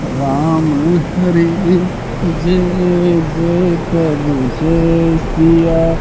राम हरी जय जय प्रभु जय सिया--